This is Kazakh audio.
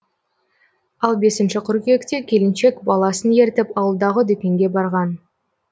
ал бесінші қыркүйекте келіншек баласын ертіп ауылдағы дүкенге барған